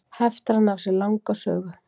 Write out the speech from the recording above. Heftarinn á sér langa sögu.